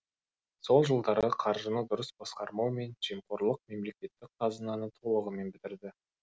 сол жылдары қаржыны дұрыс басқармау мен жемқорлық мемлекеттік қазынаны толығымен бітірді